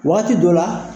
Wagati dɔ la